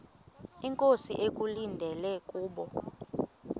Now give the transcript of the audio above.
inkosi ekulindele kubo